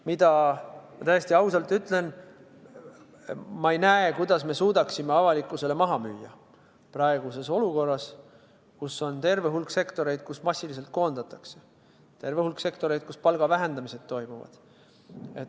Ma ütlen täiesti ausalt: ma ei näe, kuidas me suudaksime selle avalikkusele maha müüa praeguses olukorras, kus on terve hulk sektoreid, kus massiliselt koondatakse, terve hulk sektoreid, kus palga vähendamised toimuvad.